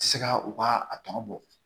Tɛ se ka u ka a tɔ bɔ